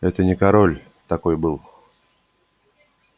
это не король такой был